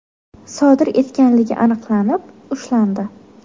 sodir etganligi aniqlanib, ushlandi.